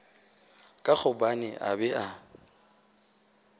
ka gobane a be a